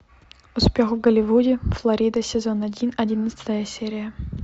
успех в голливуде флорида сезон один одиннадцатая серия